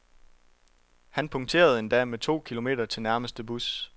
Han punkterede en dag med to kilometer til nærmeste bus.